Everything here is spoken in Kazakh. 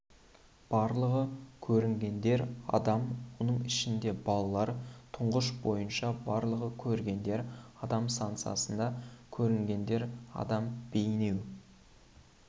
барлығы көрінгендер адам оның ішінде балалар тұрыш бойынша барлығы көрінгендер адам станциясында көрінгендер адам бейнеу